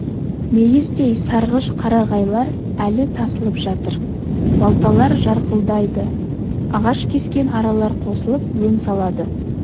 мейіздей сарғыш қарағайлар әлі тасылып жатыр балталар жарқылдайды ағаш кескен аралар қосылып өн салады